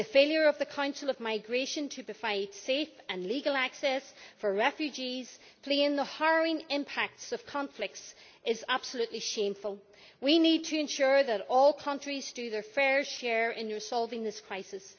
The failure of the Council meeting on migration to provide safe and legal access for refugees fleeing the harrowing impacts of conflicts is absolutely shameful. We need to ensure that all countries do their fair share in resolving this crisis.